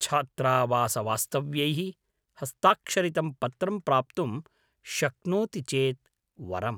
छात्रावासवास्तव्यैः हस्ताक्षरितं पत्रं प्राप्तुं शक्नोति चेत् वरम्।